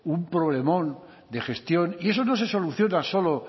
un problemón de gestión y eso no se soluciona solo